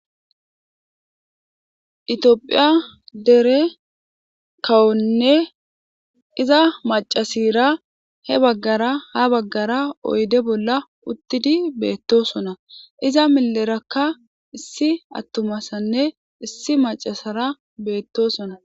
itiophiya dere kawonne iza macasira he baggara ha baggara oyde bolla uttidi beettosona iza millerakka issi attumasanne issi macasara beettosona